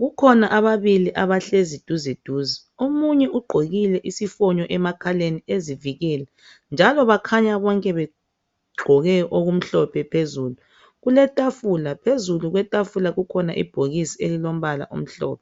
kukhona ababili abahlezi duze duze. Omunye ugqokile isifonyo emakhaleni ezivikela njalo bakhanya bonke begqoke okumhlophe phezulu. Kulefatula, phezulu kwetafula kukhona ibhokisi elilombala omhlophe.